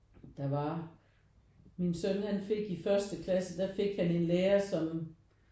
Der var min søn han fik i første klasse der fik han en lærer som